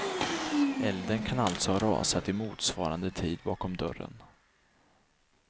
Elden kan alltså ha rasat i motsvarande tid bakom dörren.